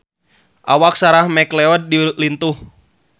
Awak Sarah McLeod lintuh